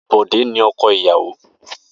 Bode ni ọkọ iyawo.